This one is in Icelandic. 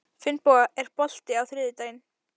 Finnboga, er bolti á þriðjudaginn?